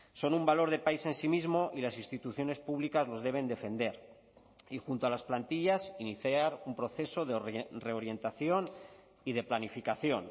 son un valor de país en sí mismo y las instituciones públicas los deben defender y junto a las plantillas iniciar un proceso de reorientación y de planificación